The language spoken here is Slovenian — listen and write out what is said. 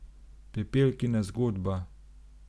Pepelkina zgodba.